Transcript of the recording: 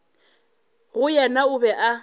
go yena o be o